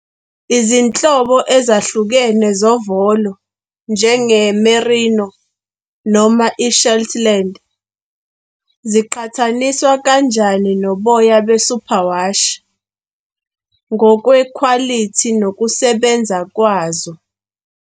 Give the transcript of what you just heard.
Izinhlobo ezahlukene zovolo, njenge-merino noma i-shetland, ziqhathaniswa kanjani noboya be-superwash ngokwekhwalithi nokusebenza kwazo?